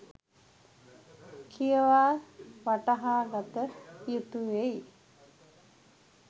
කියවා වටහාගත යුතුවෙයි.